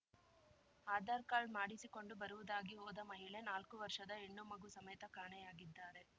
Aadhaar card ಮಾಡಿಸಿಕೊಂಡು ಬರುವುದಾಗಿ ಹೋದ ಮಹಿಳೆ ನಾಲ್ಕು ವರ್ಷದ ಹೆಣ್ಣು ಮಗು ಸಮೇತ ಕಾಣೆಯಾಗಿದ್ದಾರೆ